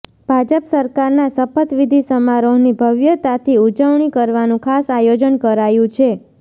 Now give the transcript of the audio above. ભાજપ સરકારના શપથવિધિ સમારોહની ભવ્યતાથી ઉજવણી કરવાનું ખાસ આયોજન કરાયું છે